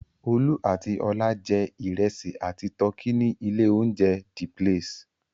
Olú àti Ọlá jẹ́ ìrẹsì àti tọkí ní ilé-oúnjẹ The Place?